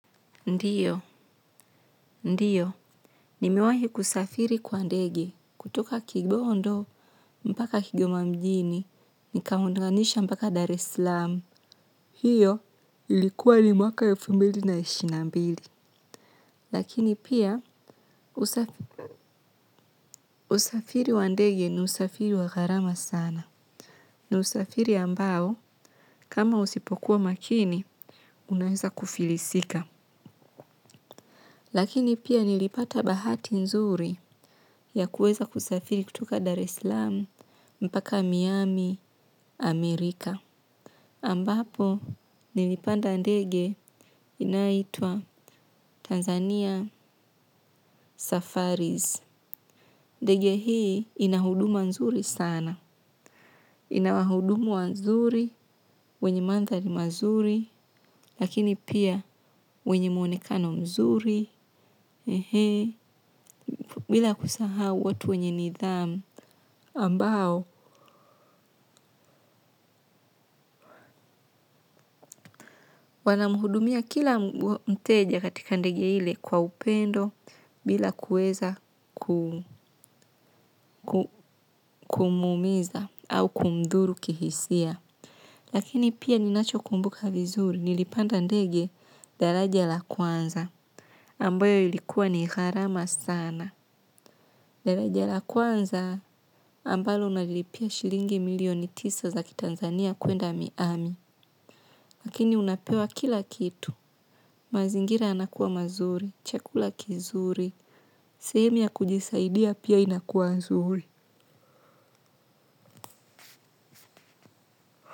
Ndiyo, ndiyo, nimewahi kusafiri kwa ndege kutoka kigondo mpaka kigoma mjini, nikaunganisha mpaka Dar eslam. Hiyo ilikuwa ni mwaka elfu mbili na ishirini na mbili, lakini pia usafiri wa ndege ni usafiri wa gharama sana, ni usafiri ambao kama usipokuwa makini, unaeza kufilisika. Lakini pia nilipata bahati nzuri ya kuweza kutoka dar esalam mpaka Miami huko amerika ambapo nilipanda ndege inayoitwa Tanzania Safaris. Ndege hii inahuduma nzuri sana. Ina wahudumu wanzuri, wenye mandhari mazuri, lakini pia wenye mwonekano mzuri. Bila kusahau watu wenye nidhamu ambao wanamhudumia kila mteja katika ndege ile kwa upendo bila kuweza ku kumwumiza au kumdhuru kihisia lakini pia ninachokumbuka vizuri nilipanda ndege daraja la kwanza ambayo ilikuwa ni gharama sana daraja la kwanza, ambalo unalipia shilingi milioni tisa za kiTanzania kuenda Miami. Lakini unapewa kila kitu. Mazingira yanakuwa mazuri, chakula kizuri, sehemu ya kujisaidia pia inakuwa nzuri.